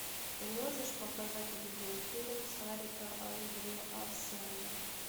ты можешь показать видеофильм сарика андреасяна